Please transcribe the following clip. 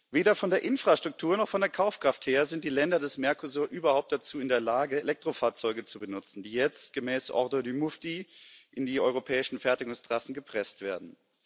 Weder von der Infrastruktur noch von der Kaufkraft her sind die Länder des Mercosur überhaupt dazu in der Lage, Elektrofahrzeuge zu benutzen, die jetzt gemäß ordre du mufti in die europäischen Fertigungstrassen gepresst werden.